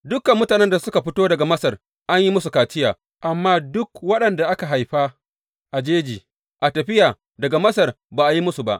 Dukan mutanen da suka fito daga Masar an yi musu kaciya, amma duk waɗanda aka haifa a jeji a tafiya daga Masar, ba a yi musu ba.